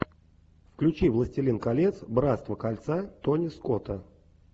включи властелин колец братство кольца тони скотта